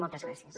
moltes gràcies